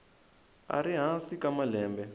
a ri hansi ka malembe